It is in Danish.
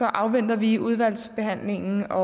afventer vi udvalgsbehandlingen og